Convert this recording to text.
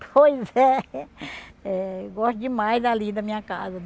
Pois é eh. Gosto demais ali da minha casa.